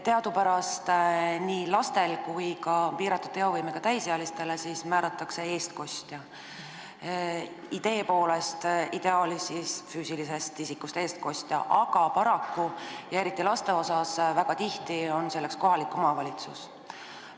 Teadupärast määratakse nii lastele kui ka piiratud teovõimega täisealistele eestkostja, ideaalis füüsilisest isikust eestkostja, aga paraku on eriti laste eestkostjaks väga tihti kohalik omavalitsus.